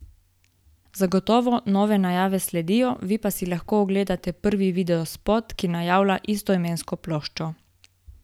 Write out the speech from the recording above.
Zagotovo nove najave sledijo, vi pa si lahko ogledate prvi videospot, ki najavlja istoimensko ploščo!